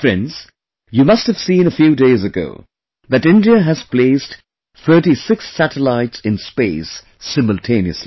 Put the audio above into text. Friends, you must have seen a few days ago, that India has placed 36 satellites in space simultaneously